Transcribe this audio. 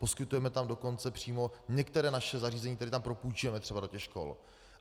Poskytujeme tam dokonce přímo některá naše zařízení, která tam propůjčujeme třeba do těch škol.